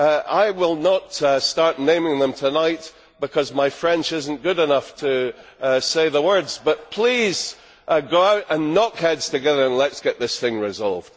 I will not start naming them tonight because my French is not good enough to say the words, but please go out and knock heads together and let us get this thing resolved.